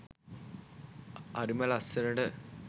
හරිම ලස්සනට